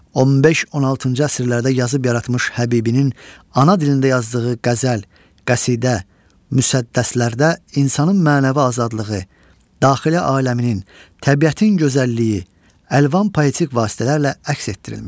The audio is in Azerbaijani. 15-16-cı əsrlərdə yazıb yaratmış Həbibinin ana dilində yazdığı qəzəl, qəsidə, müsəddəslərdə insanın mənəvi azadlığı, daxili aləminin, təbiətin gözəlliyi əlvan poetik vasitələrlə əks etdirilmişdir.